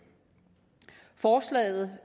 forslaget